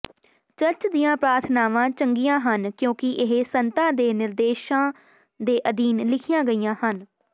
church ਦੀਆਂ ਪ੍ਰਾਰਥਨਾਵਾਂ ਚੰਗੀਆਂ ਹਨ ਕਿਉਂਕਿ ਇਹ ਸੰਤਾਂ ਦੇ ਨਿਰਦੇਸ਼ਾਂ ਦੇ ਅਧੀਨ ਲਿਖੀਆਂ ਗਈਆਂ ਸਨ